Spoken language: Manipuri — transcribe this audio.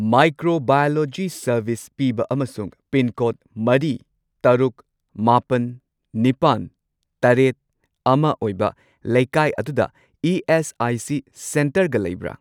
ꯃꯥꯏꯀ꯭ꯔꯣꯕꯥꯏꯑꯣꯂꯣꯖꯤ ꯁꯔꯚꯤꯁ ꯄꯤꯕ ꯑꯃꯁꯨꯡ ꯄꯤꯟꯀꯣꯗ ꯃꯔꯤ, ꯇꯔꯨꯛ, ꯃꯥꯄꯟ, ꯅꯤꯄꯥꯟ, ꯇꯔꯦꯠ, ꯑꯃ ꯑꯣꯏꯕ ꯂꯩꯀꯥꯏ ꯑꯗꯨꯗ ꯏ.ꯑꯦꯁ.ꯑꯥꯏ.ꯁꯤ. ꯁꯦꯟꯇꯔꯒ ꯂꯩꯕ꯭ꯔꯥ?